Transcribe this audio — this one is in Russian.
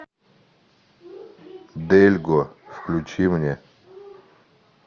дельго включи мне